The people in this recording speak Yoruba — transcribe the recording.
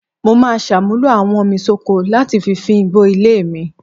Mo máa ṣàmúlò awọ́nmisóko láti fi fín igbó ilé mi